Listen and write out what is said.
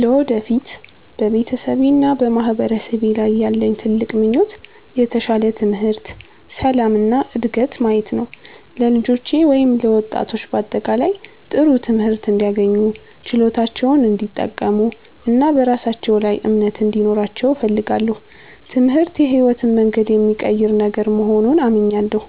ለወደፊት በቤተሰቤና በማህበረሰቤ ላይ ያለኝ ትልቅ ምኞት የተሻለ ትምህርት፣ ሰላም እና ዕድገት ማየት ነው። ለልጆቼ ወይም ለወጣቶች በአጠቃላይ ጥሩ ትምህርት እንዲያገኙ፣ ችሎታቸውን እንዲጠቀሙ እና በራሳቸው ላይ እምነት እንዲኖራቸው እፈልጋለሁ። ትምህርት የሕይወትን መንገድ የሚቀይር ነገር መሆኑን እመኛለሁ።